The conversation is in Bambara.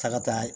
Ta ka taa